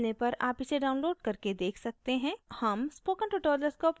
अच्छी bandwidth न मिलने पर आप इसे download करके देख सकते हैं